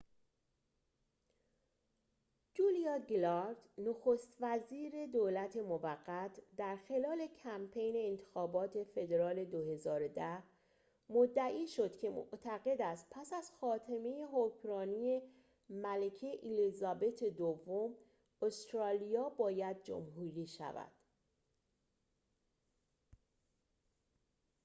جولیا گیلارد نخست وزیر دولت موقت در خلال کمپین انتخابات فدرال ۲۰۱۰ مدعی شد که معتقد است پس از خاتمه حکمرانی ملکه الیزابت دوم استرالیا باید جمهوری شود